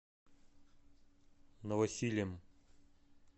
новосилем